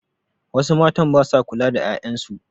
Wasu matn ba sa kula da 'ya'yan su.